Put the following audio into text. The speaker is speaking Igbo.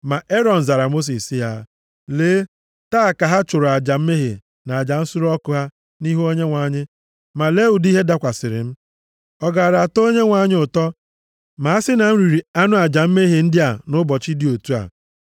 Ma Erọn zara Mosis sị ya, “Lee, taa ka ha chụrụ aja mmehie na aja nsure ọkụ ha nʼihu Onyenwe anyị. Ma lee ụdị ihe dakwasịrị m. Ọ gaara atọ Onyenwe anyị ụtọ ma a sị na m riri anụ aja mmehie ndị a nʼụbọchị dị otu a?”